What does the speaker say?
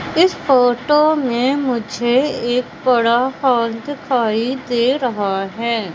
इस फोटो में मुझे एक बड़ा हाल दिखाई दे रहा है।